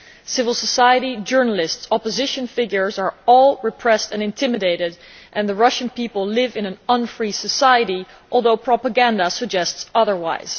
Civil society, journalists and opposition figures are all repressed and intimidated and the Russian people live in an unfree free society, although propaganda suggests otherwise.